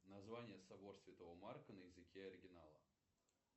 название собор святого марка на языке оригинала